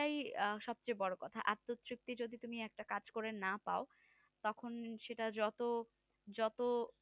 এটাই সব চেয়ে বড়ো কথা আত্মতৃপ্তিতো যদি তুমি একটা কাজ করে না পাও তখন সেটা যত যত